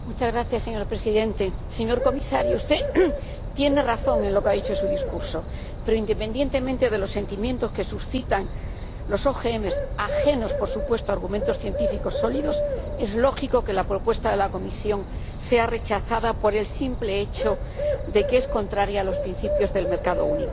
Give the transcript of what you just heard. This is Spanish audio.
Señor Presidente, señor comisario, usted tiene razón en lo que ha dicho en su discurso, pero independientemente de los sentimientos que suscitan los OMG, ajenos, por supuesto, a argumentos científicos sólidos, es lógico que la propuesta de la Comisión sea rechazada por el simple hecho de que es contraria a los principios del mercado único.